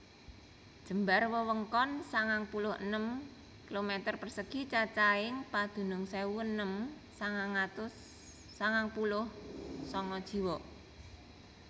Jembar wewengkon sangang puluh enem km persegi cacahing padunung sewu enem atus sangang puluh sanga jiwa